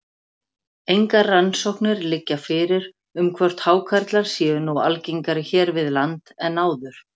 Engar rannsóknir liggja fyrir um hvort hákarlar séu nú algengari hér við land en áður.